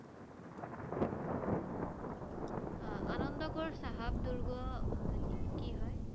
আহ আনন্দপুৰ চাহাব দূৰ্গ কি হয়?